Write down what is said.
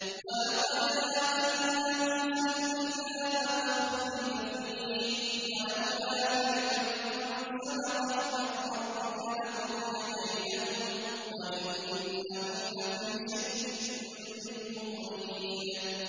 وَلَقَدْ آتَيْنَا مُوسَى الْكِتَابَ فَاخْتُلِفَ فِيهِ ۗ وَلَوْلَا كَلِمَةٌ سَبَقَتْ مِن رَّبِّكَ لَقُضِيَ بَيْنَهُمْ ۚ وَإِنَّهُمْ لَفِي شَكٍّ مِّنْهُ مُرِيبٍ